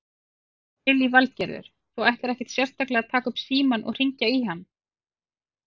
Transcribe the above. Lillý Valgerður: Þú ætlar ekkert sérstaklega að taka upp símann og hringja í hann?